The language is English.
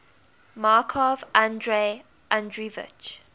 markov andrei andreevich